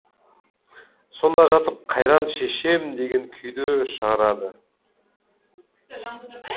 сонда жатып қайран шешем деген күйді шығарады